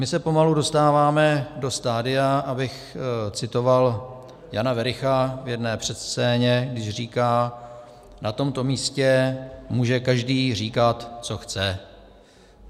My se pomalu dostáváme do stadia - abych citoval Jana Wericha v jedné předscéně, když říkal: Na tomto místě může každý říkat, co chce.